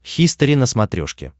хистори на смотрешке